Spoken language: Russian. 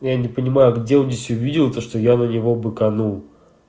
я не понимаю где здесь увидел то что я на него быканул